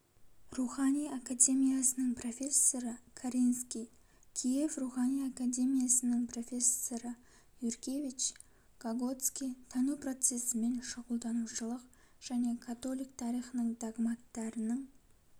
рухани академиясының профессоры каринский киев рухани академиясының профессоры юркевич гоготский тану процесімен шұғылданушылық және католик тарихының догматтарының